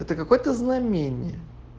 это какое то знамение